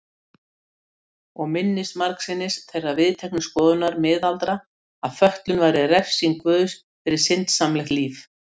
Og minntist margsinnis þeirrar viðteknu skoðunar miðalda að fötlun væri refsing guðs fyrir syndsamlegt líf.